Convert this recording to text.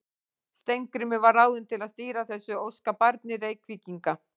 Steingrímur var ráðinn til að stýra þessu óskabarni Reykvíkinga.